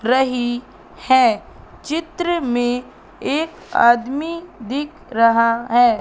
रही है चित्र में एक आदमी दिख रहा है।